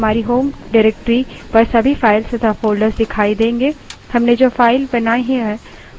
हमने यहाँ जो किया उससे हमारी home directory पर सभी files तथा folders दिखाई देंगे